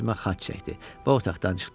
Üzümə xaç çəkdi və otaqdan çıxdı.